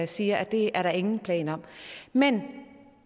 sige at det er der ingen planer om men